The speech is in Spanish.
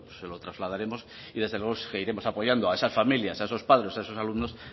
se lo trasladaremos y desde luego seguiremos apoyando a esas familias a esos padres a esos alumnos